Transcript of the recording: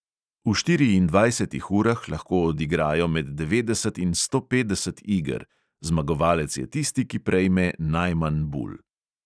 V štiriindvajsetih urah lahko odigrajo med devetdeset in sto petdeset iger, zmagovalec je tisti, ki prejme najmanj bul.